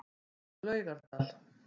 Laugardal